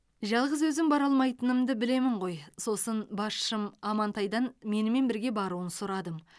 жалғыз өзім бара алмайтынымды білемін ғой сосын басшым амантайдан менімен бірге баруын сұрадым